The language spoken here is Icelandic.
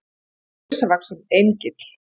Hann var risavaxinn Engill.